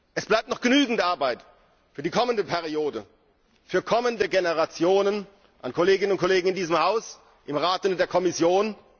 Es bleibt noch genügend Arbeit für die kommende Wahlperiode, für kommende Generationen an Kolleginnen und Kollegen in diesem Haus, im Rat und in der Kommission.